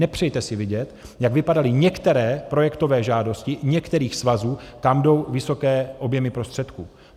Nepřejte si vidět, jak vypadaly některé projektové žádosti některých svazů, kam jdou vysoké objemy prostředků.